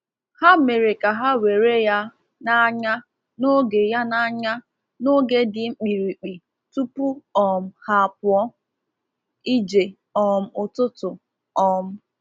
Ha mere ka ha weere ya n’anya n’oge ya n’anya n’oge dị mkpirikpi tupu um ha apụọ ije um ụtụtụ. um